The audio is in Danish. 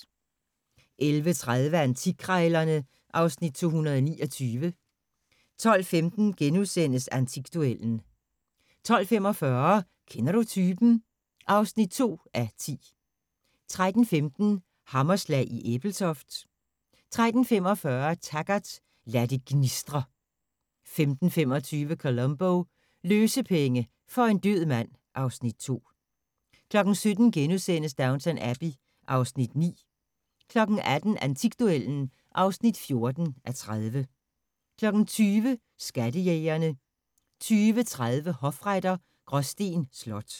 11:30: Antikkrejlerne (Afs. 229) 12:15: Antikduellen * 12:45: Kender du typen? (2:10) 13:15: Hammerslag i Ebeltoft 13:45: Taggart: Lad det gnistre 15:25: Columbo: Løsepenge for en død mand (Afs. 2) 17:00: Downton Abbey (Afs. 9)* 18:00: Antikduellen (14:30) 20:00: Skattejægerne 20:30: Hofretter: Gråsten Slot